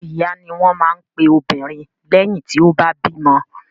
Ìyá ni wọ́n máa ń pe obìnrin lẹ́yìn tí ó bá bímọ.